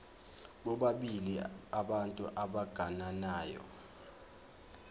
bobabili abantu abagananayo